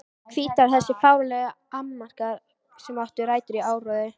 Hvítár Þessir fáránlegu annmarkar, sem áttu rætur í áróðri